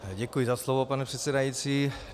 Děkuji za slovo, pane předsedající.